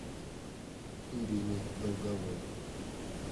ириной долговой